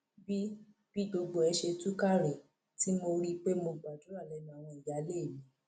bí bí gbogbo ẹ ṣe túká rèé tí mo rí i pé mo gbàdúrà lẹnu àwọn ìyáálé mi